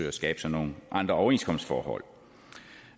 at skabe sig nogle andre overenskomstforhold